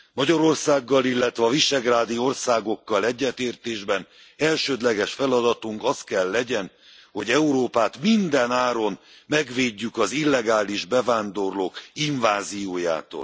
Magyarországgal, illetve a visegrádi országokkal egyetértésben elsődleges feladatunk az kell legyen, hogy Európát minden áron megvédjük az illegális bevándorlók inváziójától.